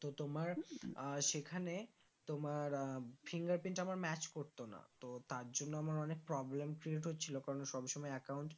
তো তোমার আহ সেখানে তোমার আহ finger print আমার match করতো না তো তার জন্য আমার অনেক problem create হচ্ছিলো কেননা সব সময় account